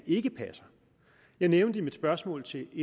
ikke passer jeg nævnte i mit spørgsmål til